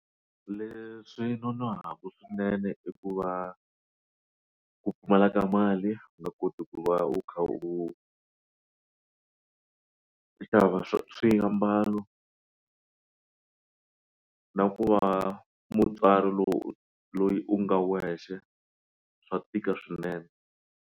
Leswi nonohaka swinene i ku va ku pfumala ka mali u nga koti ku va u kha u swiambalo na ku va mutswari lowu loyi u nga wexe swa tika swinene.